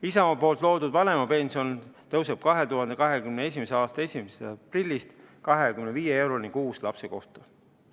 Isamaa loodud vanemapension tõuseb 2021. aasta 1. aprillist 25 euroni kuus lapse kohta.